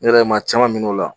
Ne yɛrɛ ye maa caman minɛ o la.